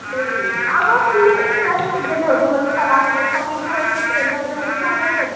अगं पण मी तयासाठी गेले होते म्हणलं शॉपिंग करायची जत्रेमध्ये चाललोच ये